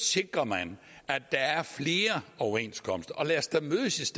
sikrer man at der er flere overenskomster og lad os da mødes